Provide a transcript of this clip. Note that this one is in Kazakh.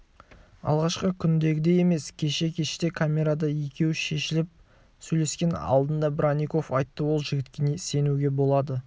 алғашқы күндегідей емес кеше кеште камерада екеуі шешіліп сөйлескен алдында бронников айтты ол жігітке сенуге болады